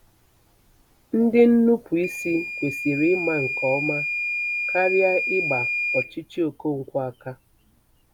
Ndị nnupụisi kwesịrị ịma nke ọma karịa ịgba ọchịchị Okonkwo aka.